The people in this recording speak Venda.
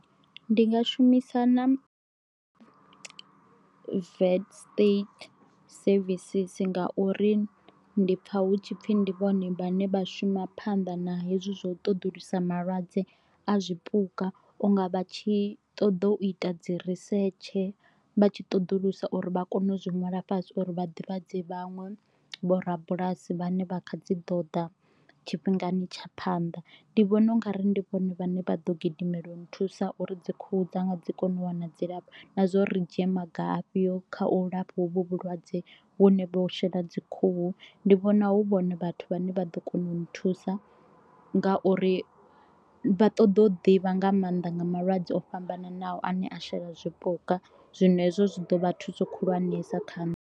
Ndi nga shumisa na vet state services ngauri ndi pfha hu tshipfi ndi vhone vhane vha shuma phanḓa na hezwo ṱoḓulusa malwadze a zwipuka unga vha tshi ṱoḓa u ita dzi research vha tshi ṱoḓulusa uri vha kone u ṅwala fhasi uri vha ḓivhadze vhanwe vho rabulasi vhane vha kha dzi ḓo ḓa tshifhingani tsha phanḓa. Ndi vhona u nga ri ndi vhone vhane vha ḓo gidimela u nthusa uri dzi khuhu dzanga dzi kone u wana dzilafho na zwa uri ri dzhie maga a fhio kha u lafha hovhu vhulwadze vhune vho shela dzi khuhu, ndi vhona hu vhona vhathu vha ne vha ḓo kona uni thusa ngauri vha ṱoḓa u ḓivha nga maanḓa nga malwadze o fhambananaho ane a shela zwipuka zwino hezwo zwi ḓo vha thuso khulwanesa kha nṋe.